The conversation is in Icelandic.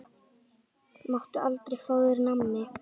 Máttu aldrei fá þér nammi?